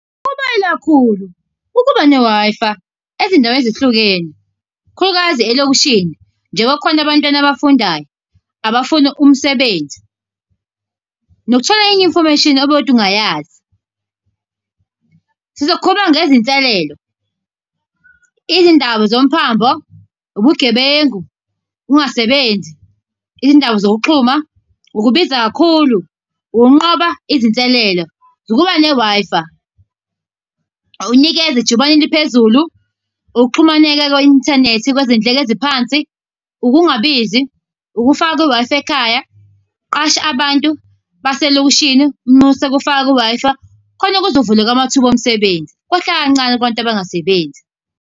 Kubaluleke kakhulu ukuba ne-Wi-Fi ezindaweni ezahlukene, kakhulukazi elokishini njengoba kukhona abantwana abafundayo, abafuna umsebenzi nokuthola enye i-information obukade ungayazi. Sizokhuluma ngezinselelo. Izindaba zomphambo, ubugebengu, ukungasebenzi, izindaba zokuxhuma, ukubiza kakhulu, ukunqoba izinselelo, ukuba ne-Wi-Fi. Awunikezi ijubane eliphezulu, ukuxhumaneka kwe-inthanethi kwezindleko eziphansi, ukungabizi, ukufaka i-Wi-Fi ekhaya, qashe abantu baselokishini. Unyuse ukufaka ku-Wi-Fi. Khona kuzovuleka amathuba omsebenzi kwehle kancane kubantu abangasebenzi.